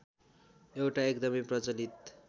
एउटा एकदमै प्रचलित